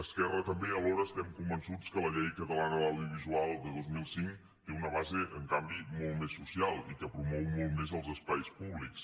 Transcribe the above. esquerra també alhora estem convençuts que la llei catalana de l’audiovisual de dos mil cinc té una base en canvi molt més social i que promou molt més els espais públics